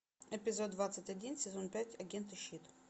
эпизод двадцать один сезон пять агенты щит